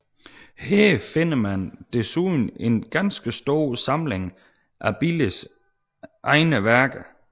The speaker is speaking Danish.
Her finder man desuden en ganske stor samling af Billes egne værker